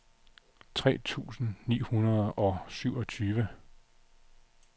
tre tusind ni hundrede og syvogtyve